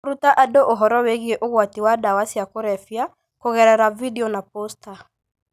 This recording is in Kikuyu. Kũruta andũ ũhoro wĩgiĩ ũgwati wa ndawa cia kũrebia kũgerera video na posta,